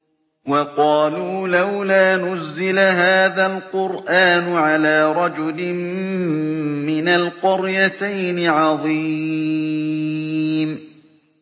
وَقَالُوا لَوْلَا نُزِّلَ هَٰذَا الْقُرْآنُ عَلَىٰ رَجُلٍ مِّنَ الْقَرْيَتَيْنِ عَظِيمٍ